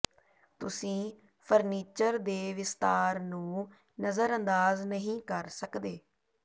ਤੁਸੀਂ ਫ਼ਰਨੀਚਰ ਦੇ ਵਿਸਤਾਰ ਨੂੰ ਨਜ਼ਰਅੰਦਾਜ਼ ਨਹੀਂ ਕਰ ਸਕਦੇ